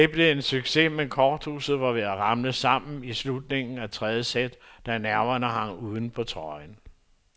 Det blev en succes, men korthuset var ved at ramle sammen i slutningen af tredje sæt, da nerverne hang uden på trøjen.